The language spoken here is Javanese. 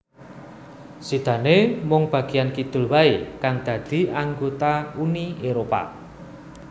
Sidané mung bagéyan kidul waé kang dadi anggota Uni Éropah